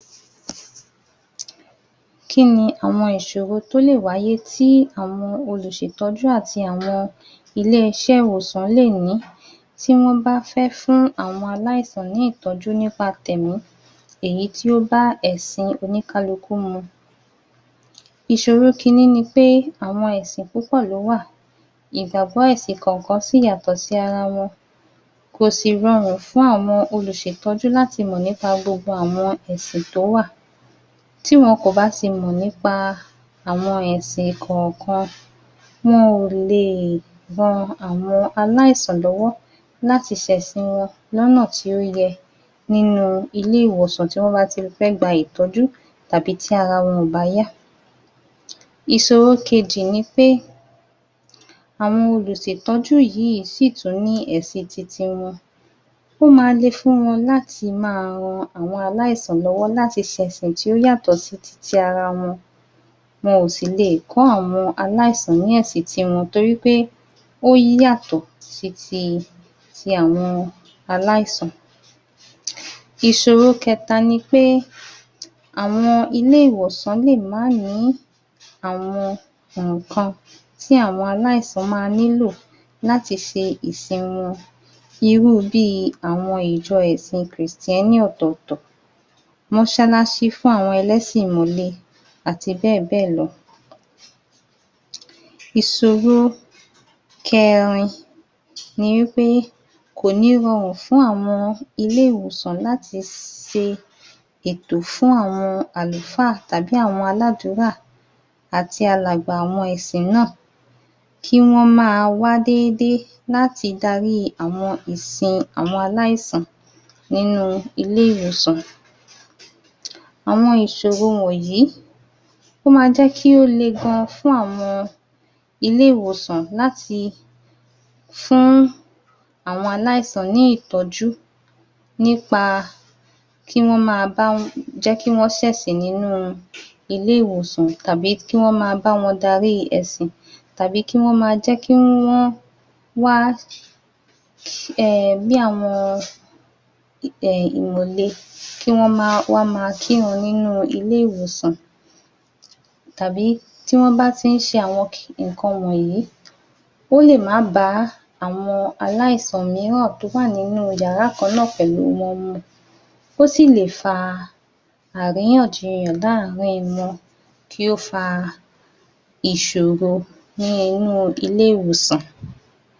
Kíni àwọn ìṣòro tó lè wáyé tí àwọn olùṣètọ́jú àti àwọn ilé iṣẹ́ ìwòsàn lè ní, tí wọ́n bá fẹ́ fún àwọn aláìsàn ní ìtọ́jú nípa tẹ̀ẹ̀mí ,èyí tí ó bá ẹ̀sìn oníkálukú mu. Ìṣòro kínni ni pé àwọn ẹ̀sìn púpọ̀ ló wà, ìgbàgbọ́ ẹ̀sìn kọ̀ọ̀kan sì yàtọ̀ sí ara wọn. Kọ̀ sì rọrùn fún àwọn olùṣètọ́jú láti mọ̀ nípa gbogbo àwọn ẹ̀sìn tó wà, tí wọ́n kò bà ti mọ̀ nípa àwọn ẹ̀sìn kọ̀ọ̀kan, wọ́n ò le ran àwọn aláìsàn lọ́wọ́ láti ṣẹ̀sìn wọn lọ́nà tó yẹ nínu ilé ìwòsàn tí wọ́n bá ti fẹ́ gba ìtọ́jú tàbí tí ara wọ́n bá o yá. Ìṣòro kejì ni pé àwọn olùṣètọ́jú yìí sì tún ní ẹ̀sìn titi wọn, ó ma le fún wọn láti ma rán àwọn aláìsàn lọ́wọ́ láti ṣe ẹ̀sìn tí ó yàtọ̀ sí titi ara wọn. Wọn ò sì lè kọ́ àwọn aláìsàn ní ẹ̀sìn titi wọn to rí pé ó yàtọ̀ sí ti àwọn aláìsàn. Ìṣòro kẹta ni pé àwọn ilé ìwòsàn lè má ní àwọn ǹǹkan tí àwọn àláìsàn ma ní lò láti ṣe ìsìn wọn. Irú bí àwọn ìjọ ẹ̀sìn kìrìsìtẹ́nì ọ̀tọ̀ọ̀tọ̀, mọ́ṣálásí fún àwọn ẹlẹ̀sìn ìmàle àti bẹ́ẹ̀ bẹ́ẹ̀ lọ. Ìṣòro kẹrin ni pé kò ní rọrùn fún àwọn ilé ìwòsàn láti ṣe ètò fún àwọn àlùfa tàbí àwọn aládùra àti alàgbà àwọn ẹ̀sìn náà, kí wọ́n maa wá díẹ̀díẹ̀ láti darí àwọn ìsìn àwọn aláìsàn nínú ilé ìwòsàn. Àwọn ìṣòro wọ̀nyí, ó máá ń jẹ́ kí ó le gan fún àwọn ilé ìwòsàn láti fún àwọn aláìsan ní ìtọ́jú nípa kí wọ́n lè ma jẹ́ kí wọ́n ṣẹ̀sìn nínú ilé ìwòsàn tàbí kí wọ́n máá ba wọn darí ẹ̀sìn, tàbí kí wọn ma jẹ́ kí wọ́n wá er bí àwọn er ìmàle kí wọ́n maa kírun ní ilé ìwòsàn. tàbí tí wọ́n bá tí ń ṣe àwọn ǹǹkan wọ̀nyí, ó lè má ba àwọn aláìsàn míìràn tó wà nínú yàrá kanna pẹ̀lú wọn mu, ó sì lè fa àríyànjiyàn láàrín wọn, kí o fa ìṣòro ní inú ilé ìwòsàn.